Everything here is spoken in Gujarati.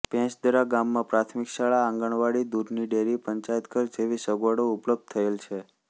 ભેંસદરા ગામમાં પ્રાથમિક શાળા આંગણવાડી દૂધની ડેરી પંચાયતઘર જેવી સગવડો ઉપલબ્ધ થયેલ છે